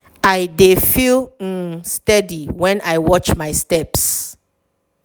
i dey feel um steady when i watch my steps.